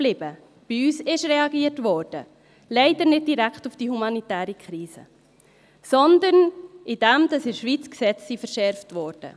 Bei uns wurde reagiert, wenn auch leider nicht direkt auf die humanitäre Krise, sondern indem in der Schweiz die Gesetze verschärft wurden.